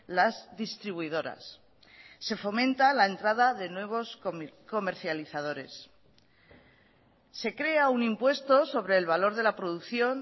las distribuidoras se fomenta la entrada de nuevos comercializadores se crea un impuesto sobre el valor de la producción